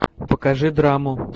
покажи драму